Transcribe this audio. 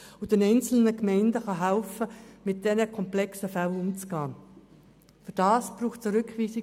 In der Verordnung kann das beispielsweise bei Sozialhilfegeld über 200 000 Franken festgelegt werden.